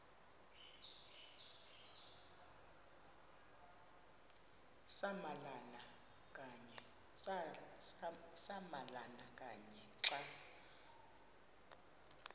samalama kanye xa